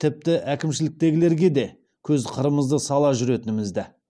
тіпті әкімшіліктегілерге де көз қырымызды сала жүретінімізді